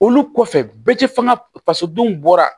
Olu kɔfɛ bɛɛ tɛ fɛngɛ faso denw bɔra